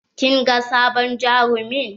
Kin ga sabon jarumin?